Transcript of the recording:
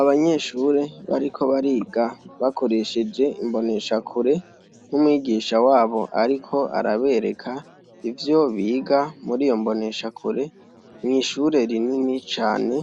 Abanyeshure bariko bariga bakoresheje imboneshakure, n' umwigisha wabo ariko arabereka ivyo biga muriyo mboneshakure , mw' ishure rinini cane ,